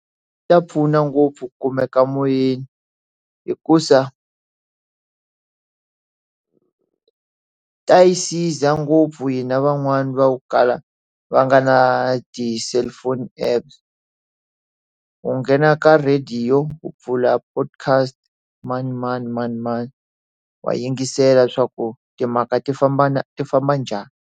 Swi ta pfuna ngopfu ku kumeka moyeni hikuza ta yi siza ngopfu hi na van'wani va wu kala va nga na ti cellphone App u nghena ka radio u pfula podcast manimani manimani wa yingisela leswaku timhaka ti famba na ti famba njhani.